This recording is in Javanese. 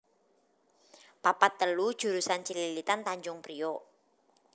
papat telu jurusan Cililitan Tanjung Priok